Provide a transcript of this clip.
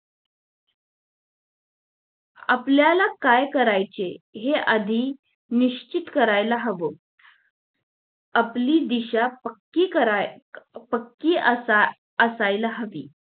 आपल्याला काय करायचे हे आधी निश्चित करायला हवं आपली दिशा पक्की कराय पक्की असय असायला हवी